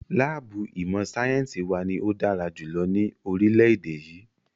Láàbù ìmọ̀ sáyẹ́nsì wa ní o dára jùlọ ní orílẹ̀-èdè yìí.